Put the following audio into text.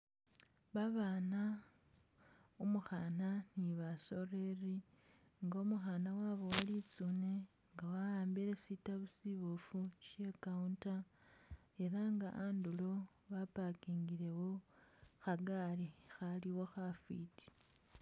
Babana umukhana ni basoleli nga umukhana wabuwa litsune nga wahambile shitabu shibofu she counter elanga andulo waparkingilewo khagari khaliwo khafiti.